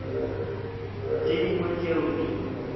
le tše dingwe tšeo di